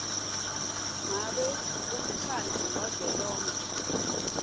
ngabe umkhandlu wavelonkhe